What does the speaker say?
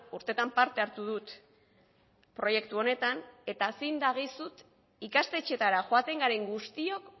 urteetan parte hartu dut proiektu honetan eta zin dagizut ikastetxeetara joaten garen guztiok